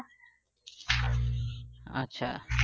আচ্ছা